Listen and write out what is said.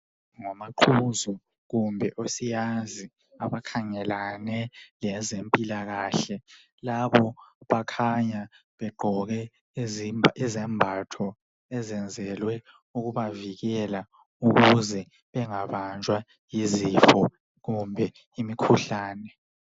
Ngomaqhuzo kumbe osiyazi abakhangelane lezempilakahle labo bakhanya begqoke izembatho ezenzelwe ukubavikela ukuze bengabanjwa yizifo kumbe imkhuhlane.